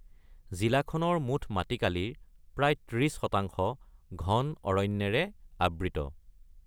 জিলাখনৰ মুঠ মাটিকালিৰ প্ৰায় ৩০% ঘন অৰণ্যেৰে আবৃত।